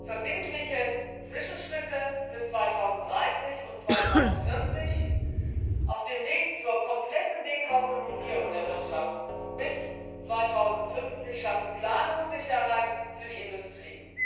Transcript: Verbindliche Zwischenschritte für 2030 und 2040 auf dem Weg zur kompletten Dekarbonisierung der Wirtschaft bis 2050 schaffen Planungssicherheit für die Industrie.